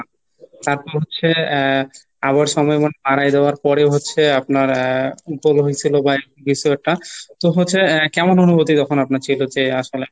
তারপর হচ্ছে আহ আবার সময় মোট আড়াই দেওয়ার পরে হচ্ছে আপনার আহ ভুল হয়েছিল বা বিষয়টা তো হচ্ছে কেমন অনুভূতি তখন আপনার ছিল যে আসলে;